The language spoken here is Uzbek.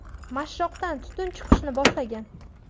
Mashshoqdan tutun chiqishni boshlagan.